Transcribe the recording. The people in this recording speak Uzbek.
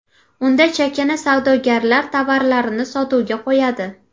Unda chakana savdogarlar tovarlarini sotuvga qo‘yadi.